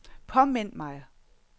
påmind mig